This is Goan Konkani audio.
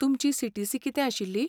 तुमची सीटीसी कितें आशिल्ली?